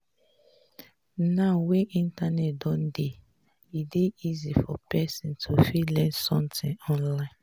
now wey internet don dey e dey easy for person to fit learn something online